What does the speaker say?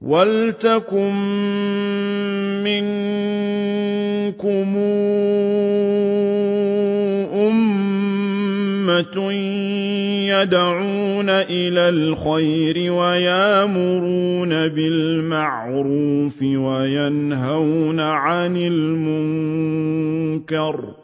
وَلْتَكُن مِّنكُمْ أُمَّةٌ يَدْعُونَ إِلَى الْخَيْرِ وَيَأْمُرُونَ بِالْمَعْرُوفِ وَيَنْهَوْنَ عَنِ الْمُنكَرِ ۚ